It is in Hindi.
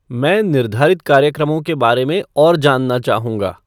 मैं निर्धारित कार्यक्रमों के बारे में और जानना चाहूँगा।